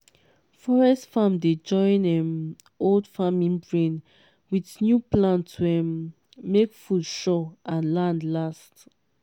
forest farm dey join um old farming brain with new plan to um make food sure and land last.